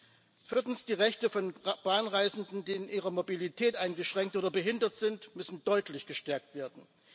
Viertens müssen die Rechte von Bahnreisenden, die in ihrer Mobilität eingeschränkt oder behindert sind, deutlich gestärkt werden.